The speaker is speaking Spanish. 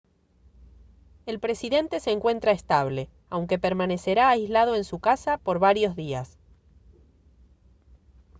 el presidente se encuentra estable aunque permanecerá aislado en su casa por varios días